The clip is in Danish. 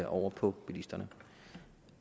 over på bilisterne